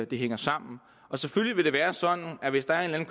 det hænger sammen selvfølgelig vil det være sådan at hvis der er en